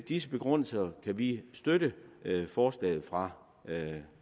disse begrundelser kan vi støtte forslaget fra